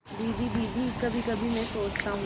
दीदी दीदी कभीकभी मैं सोचता हूँ